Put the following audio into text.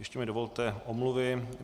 Ještě mi dovolte omluvy.